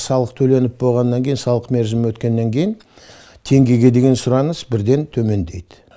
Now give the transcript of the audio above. салық төленіп болғаннан кейін салық мерзімі өткеннен кейін теңгеге деген сұраныс бірден төмендейді